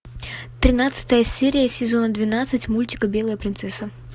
тринадцатая серия сезона двенадцать мультика белая принцесса